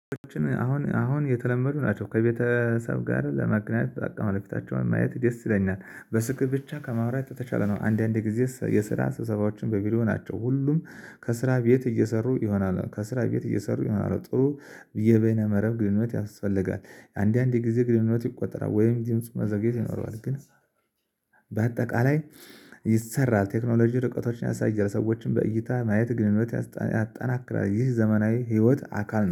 አሁን አሁን የተለመዱ ናቸው ከቤተሰብ ጋር ለመገናኘት በቃ የወደፊታቸውን ማየት ደስ ይለኛል። በስልክ ብቻ ከማውራት ተሻለ ነው። አንዳንዴ ጊዜ የስራ ሰብሰባዎች በቪዲዮ ናቸው። ሁሉም ከስራ ቤት እየሰሩ ይሆናል። ከስራ ቤት እየሰሩ ይሆናል። ጥሩ የበይነ መረብ ግንኙነት ያስፈልጋል። አንዳንድ ጊዜ ግንኙነት ይቆረጣል ወይም ድምፁ መዘግየት ይኖረዋል። ግን በአጠቃላይ ይሰራል። ቴክኖሎጂ ርቀቶችን ያሳያል ሰዎችን በእይታ ማየት ግንኙነት ያጠናክራል። ይህ ዘመናዊ ህይወት አካል